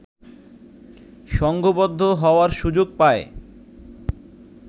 সংঘবদ্ধ হওয়ার সুযোগ পায়